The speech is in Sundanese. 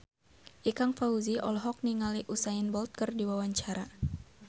Ikang Fawzi olohok ningali Usain Bolt keur diwawancara